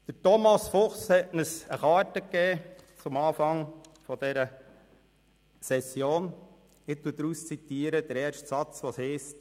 Thomas Fuchs hat uns am Anfang dieser Session eine Karte gegeben, und ich zitiere daraus den ersten Satz, welcher heisst: